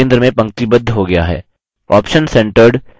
वृत्त पेज के centre में पंक्तिबद्ध हो गया है